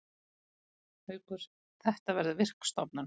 Haukur: Þetta verður virk stofnun.